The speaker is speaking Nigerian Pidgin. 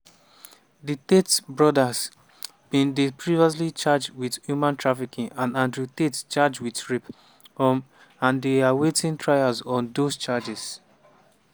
di tate brothers bin dey previously charged wit human trafficking - and andrew tate charged wit rape um - and dey awaiting trial on dose charges.